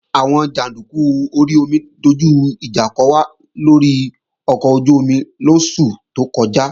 Àwọn jàndúkú orí omi dojú ìjà kò wá lórí ọkọ̀ ojú-omi lóṣù tó kọjá